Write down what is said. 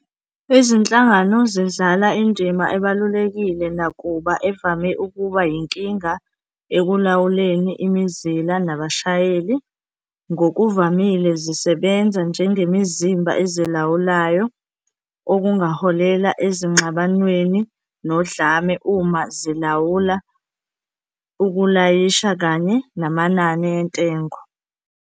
Izinhlangano zidlala indima ebalulekile nakuba evame ukuba yinkinga ekulawuleni imizila nabashayeli. Ngokuvamile zisebenza njengemizimba ezilawulayo, okungaholela ezingxabanweni nodlame uma zilawula ukulayisha kanye namanani entengo.